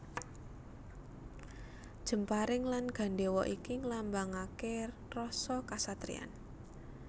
Jemparing lan gandhéwa iki nglambangaké rasa kasatriyan